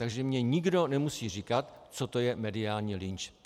Takže mi nikdo nemusí říkat, co to je mediální lynč.